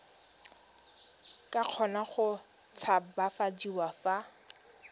ka kgona go tshabafadiwa fa